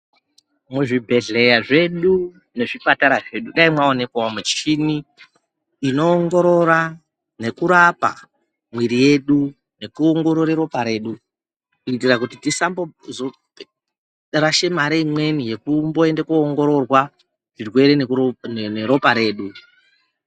Muzvibhedhleya zvedu nezvipatara zvedu, dai mawonekwawo muchini inowongorora nekurapa mwiri yedu nekuwongorero ropa redu, kuitira kuti tisazomborashe mari imweni yekumboyenda kowongororwa chirwere neropa redu.